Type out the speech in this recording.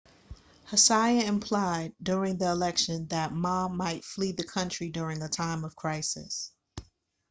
hsieh implied during the election that ma might flee the country during a time of crisis